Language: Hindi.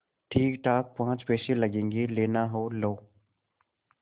ठीकठाक पाँच पैसे लगेंगे लेना हो लो